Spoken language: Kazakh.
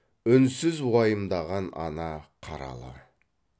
үнсіз уайымдаған ана қаралы